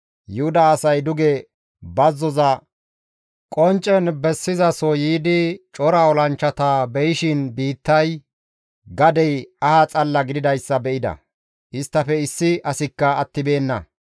Yuhuda asay duge bazzoza qonccen bessizaso yiidi cora olanchchata be7ishin biittay gadey aha xalla gididayssa be7ida; isttafe issi asikka attibeenna.